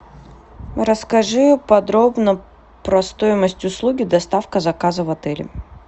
расскажи подробно про стоимость услуги доставка заказа в отеле